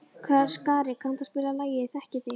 Skari, kanntu að spila lagið „Ég þekki þig“?